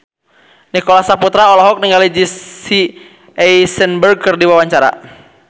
Nicholas Saputra olohok ningali Jesse Eisenberg keur diwawancara